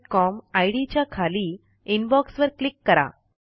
STUSERONEgmailcom ID च्या खाली inbox वर क्लिक करा